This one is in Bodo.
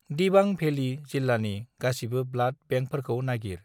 दिबां भेली जिल्लानि गासिबो ब्लाड बेंकफोरखौ नागिर।